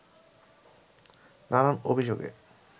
নানান অভিযোগে